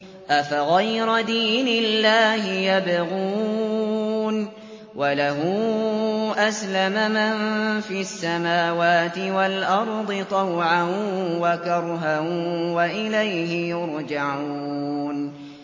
أَفَغَيْرَ دِينِ اللَّهِ يَبْغُونَ وَلَهُ أَسْلَمَ مَن فِي السَّمَاوَاتِ وَالْأَرْضِ طَوْعًا وَكَرْهًا وَإِلَيْهِ يُرْجَعُونَ